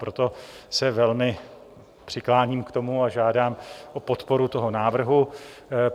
Proto se velmi přikláním k tomu a žádám o podporu toho návrhu.